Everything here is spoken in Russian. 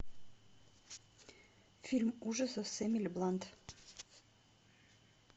фильм ужасов с эмили блант